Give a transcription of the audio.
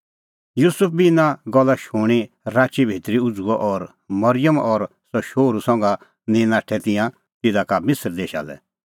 युसुफ बी इना गल्ला शूणीं राची भितरी उझ़ुअ और मरिअम और सह शोहरू संघा निंईं नाठै तिंयां तिधा का मिसर देशा लै